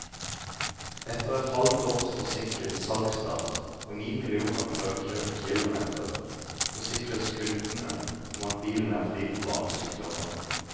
Etter et halvt års forsinket salgsstart og ni millioner prøvekjørte kilometer, forsikres kundene om at bilen er fri for barnesykdommer.